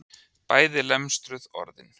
Bæði lemstruð orðin.